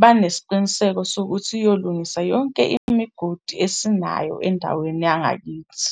banesiqiniseko sokuthi iyolungisa yonke imigodi esinayo endaweni yangakithi.